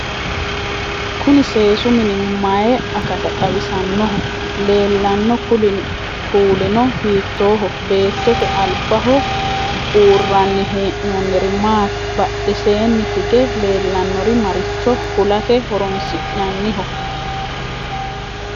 kuni seesu mini maye akata xawisannoho? leellanno kuulino hiittooho? beettote albaho buurraanni hee'noonniri maati? badheseenni hige leellannori maricho kulate horonsi'nanniho?